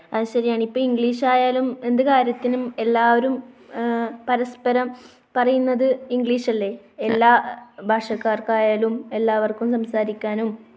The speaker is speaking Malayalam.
അത് ശരിയാണ്. ഇപ്പോൾ ഇംഗ്ലീഷ് ആയാലും എന്ത് കാര്യത്തിനും എല്ലാവരും എഹ് പരസ്പരം പറയുന്നത് ഇംഗ്ലീഷ് അല്ലേ? എല്ലാ ഭാഷക്കാർക്കും ആയാലും എല്ലാവർക്കും സംസാരിക്കാനും